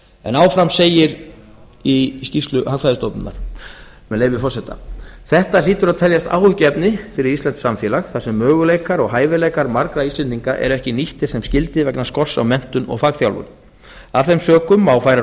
en áfram segir í skýrslu hagfræðistofnunar með leyfi forseta þetta hlýtur að teljast áhyggjuefni fyrir íslenskt samfélag þar sem möguleikar og hæfileikar margra íslendinga eru ekki nýttir sem skyldi vegna skorts á menntun og fagþjálfun af þeim sökum má færa